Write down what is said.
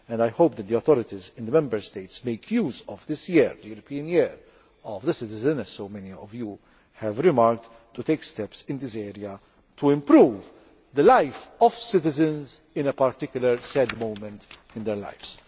I hope the authorities in the Member States make use of this year the European Year of Citizens as so many of you have remarked, to take steps in this area to improve the life of citizens at a particular sad moment in their lives.